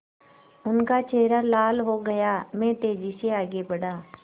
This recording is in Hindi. उनका चेहरा लाल हो गया मैं तेज़ी से आगे बढ़ा